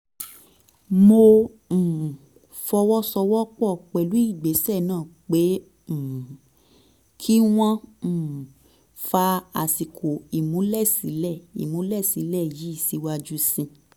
mo um fọwọ́ sowọ́ pọ̀ pẹ̀lú ìgbésẹ̀ náà pé um kí wọ́n um fa àsìkò ìmúlẹ̀sílẹ̀ ìmúlẹ̀sílẹ̀ yìí síwájú sí